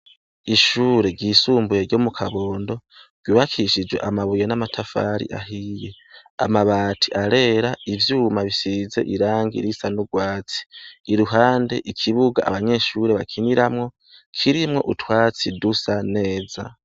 Ishure ry'isumbuye ryo mu Kabondo ryubakishije amabuye n'amatafari ahiye ,amabati arera ivyuma bisize irangi risanugwatsi, iruhande ikibuga abanyeshuri bakiniramwo kirimwo utwatsi dusa neza.